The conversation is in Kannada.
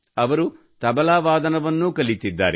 ಅವರು ತಬಲಾ ವಾದನವನ್ನೂ ಕಲಿತಿದ್ದಾರೆ